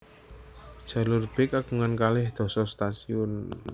Jalur B kagungan kalih dasa stasiun